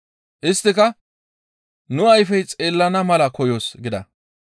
Isttika, «Nu ayfey xeellana mala koyoos» gida.